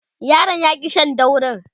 yaron ya ki Shan daurin